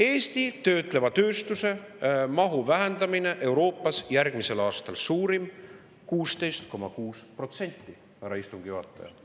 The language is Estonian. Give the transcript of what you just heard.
Eestis on töötleva tööstuse mahu vähenemine järgmisel aastal suurim Euroopas – 16,6%, härra istungi juhataja!